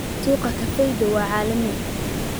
Suuqa kafeega waa caalami.